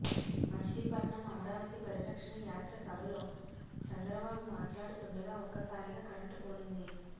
మచిలీపట్నం అమరావతి పరిరక్షణ యాత్ర సభలో చంద్రబాబు మాట్లాడుతుండగా ఒక్కసారిగా కరెంట్ పోయింది